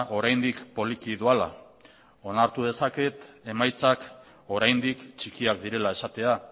oraindik poliki doala onartu dezaket emaitzak oraindik txikiak direla esatea